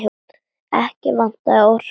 Ekki vantaði orkuna.